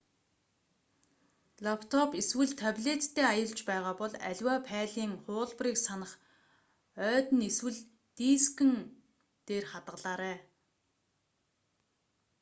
лаптоп эсвэл таблеттай аялж байгаа бол аливаа файлын хуулбарыг санах ойд нь эсвэл дискэн интернэтгүй хандах боломжтой дээр хадгалаарай